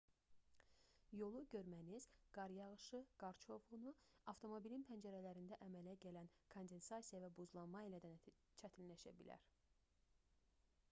yolu görməniz qar yağışı qar çovğunu avtomobilin pəncərələrində əmələ gələn kondensasiya və buzlanma ilə də çətinləşə bilər